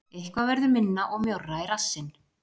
Eitthvað verður minna og mjórra í rassinn